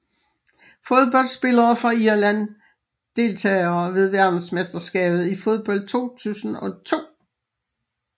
Fodboldspillere fra Irland Deltagere ved verdensmesterskabet i fodbold 2002